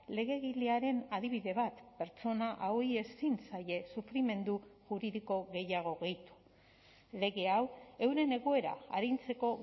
legegilearen adibide bat pertsona hauei ezin zaie sufrimendu juridiko gehiago gehitu lege hau euren egoera arintzeko